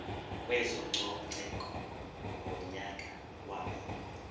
kwezococeko ngonyaka wama